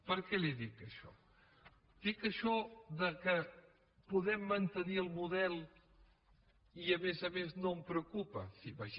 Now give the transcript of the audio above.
per què li dic això dic això que podem mantenir el model i a més a més no em preocupa sí